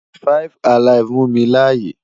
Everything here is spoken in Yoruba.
5 alive mu mi laaye